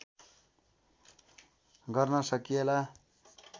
गर्न सकिएला